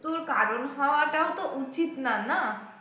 কারণ হওয়াটাও তো উচিত না না